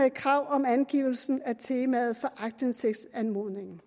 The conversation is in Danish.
et krav om angivelse af temaet for aktindsigtsanmodningen